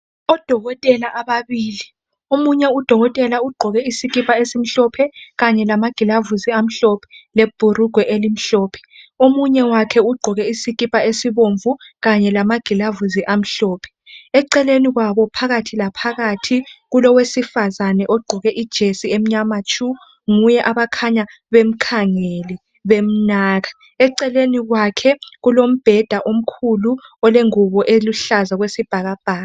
Odokotela ababili omunye udokoteka ugqoke isikipa esimhlophe kanye lamagilavusi amhlophe lebhurugwe elimhlophe omunye wakhe ugqoke isikipa esibomvu kanye lamagilavusi amhlophe eceleni kwabo phakathi laphakathi kulowesifazane ogqoke ijesi emnyama tshu nguye abakhanya bemkhangele bemnaka eceleni kwakhe kulombeda omkhulu olengubo eluhlaza okwesibhakabhaka